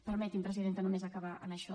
permeti’m presidenta només acabar amb això